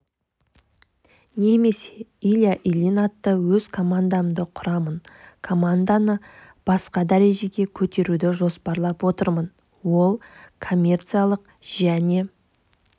немесе илья ильин атты өз командамды құрамын команданы басқа дәрежеге көтеруді жоспарлап отырмын ол коммерциялық және